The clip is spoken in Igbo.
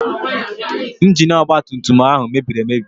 Ingini ọgba tum tum ahụ mebiri emebi.